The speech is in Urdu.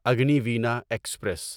اگنیوینا ایکسپریس